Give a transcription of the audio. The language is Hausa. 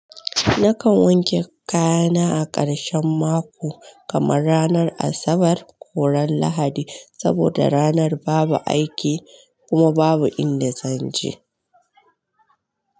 Nakan wanke kaya na a ƙarshen mako, kamar ranar Asabar ko ran Lahadi, saboda ranar babu aiki kuma babu inda zan je.